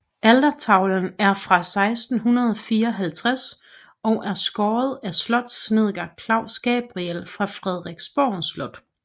Altertavlen er fra 1654 og er skåret af slotssnedker Claus Gabriel fra Frederiksborg Slot